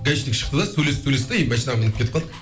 гаишник шықты да сөйлесті сөйлесті де и машинаға мініп кетіп қалды